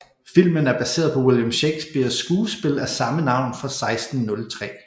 Filmen er baseret på William Shakespeares skuespil af samme navn fra 1603